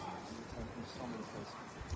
Sən buranı qaçırtdın.